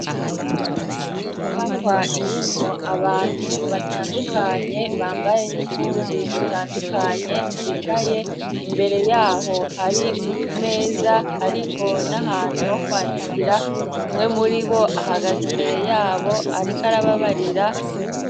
inyubakwa irimwo abantu batandukanye bambaye n'impuzu zitandukanye bicaye imbere yaho hari utumeza hariho n'ahantu ho kwandikira kumwe muribo ahagaza imbere yabo ariko arababarira